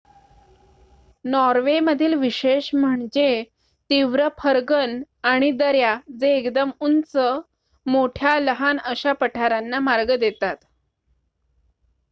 Norway मधील विशेष म्हणजे तीव्र फर्गन आणि दऱ्या जे एकदम उंच मोठ्या लहान अशा पठारांना मार्ग देतात